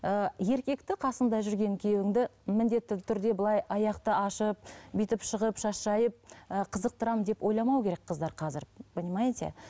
ыыы еркекті қасыңда жүрген күйеуіңді міндетті түрде былай аяқты ашып бүйтіп шығып шаш жайып ы қызықтырамын деп ойламау керек қыздар қазір понимаете